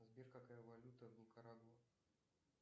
сбер какая валюта в никарагуа